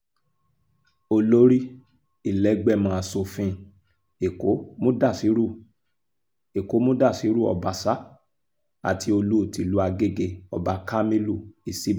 olórí ìlẹ́gbẹ́mọ asòfin èkó mudashiru èkó mudashiru ọbaṣà àti olú tìlú àgègé ọba kamilu isiba